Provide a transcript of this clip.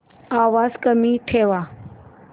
आवाज कमी ठेवा